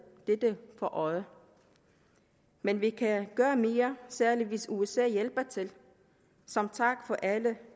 dette for øje men vi kan gøre mere særlig hvis usa hjælper til som tak for alle